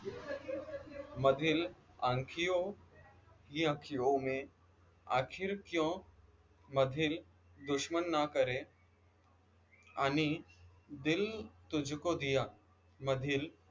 मधील आंखियों ये अँखियों में आखिर क्यों मधील दुश्मन ना करे आणि दिल तुझको दिया मधील